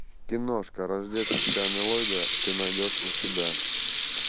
киношка рождественская мелодия ты найдешь у себя